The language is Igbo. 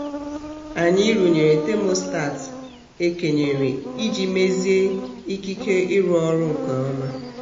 anyị rụnyere tamostat e kenyere iji mezie ikike ịrụ ọrụ nke ọma.